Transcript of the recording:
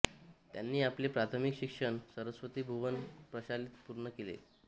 त्यांनी आपले प्राथमिक शिक्षण सरस्वती भुवन प्रशालेत पूर्ण केले